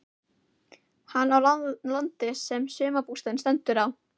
Hann á landið sem sumarbústaðurinn stendur á.